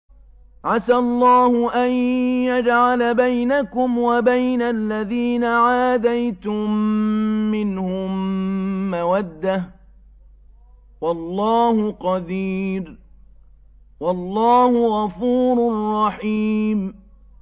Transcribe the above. ۞ عَسَى اللَّهُ أَن يَجْعَلَ بَيْنَكُمْ وَبَيْنَ الَّذِينَ عَادَيْتُم مِّنْهُم مَّوَدَّةً ۚ وَاللَّهُ قَدِيرٌ ۚ وَاللَّهُ غَفُورٌ رَّحِيمٌ